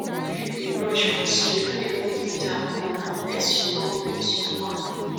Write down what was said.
if yu dey brush for sink no put di tap on unless you wan rinse mouth